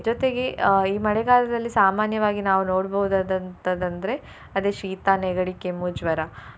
ಜೊತೆಗೆ ಅಹ್ ಈ ಮಳೆಗಾಲದಲ್ಲಿ ಸಾಮಾನ್ಯವಾಗಿ ನಾವು ನೋಡ್ಬಹುದಾದಂತದ್ರೆ ಅದು ಶೀತ, ನೆಗಡಿ, ಕೆಮ್ಮು, ಜ್ವರ.